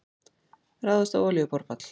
Ráðist á olíuborpall